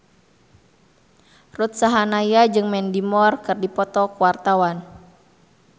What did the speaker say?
Ruth Sahanaya jeung Mandy Moore keur dipoto ku wartawan